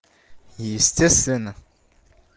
естественно